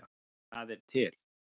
Það er til